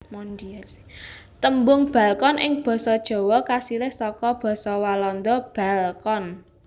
Tembung balkon ing basa Jawa kasilih saka basa Walanda balkon